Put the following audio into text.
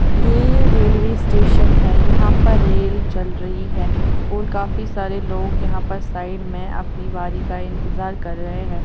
यह railway station है यहाँ पर रेल चल रही है और काफी सारे लोग यहां पर साइड में अपनी बारी का इंतजार कर रहे हैं।